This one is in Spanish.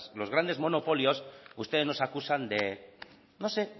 los grandes monopolios ustedes nos acusan de no sé